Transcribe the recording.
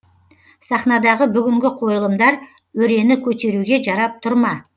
сахнадағы бүгінгі қойылымдар өрені көтеруге жарап тұр ма